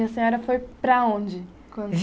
E a senhora foi para onde?